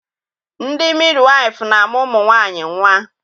Ndị midiwaịfụ na-amụ ụmụ nwaanyị nnwa.